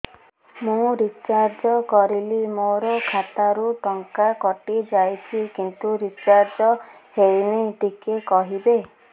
ମୁ ରିଚାର୍ଜ କରିଲି ମୋର ଖାତା ରୁ ଟଙ୍କା କଟି ଯାଇଛି କିନ୍ତୁ ରିଚାର୍ଜ ହେଇନି ଟିକେ କହିବେ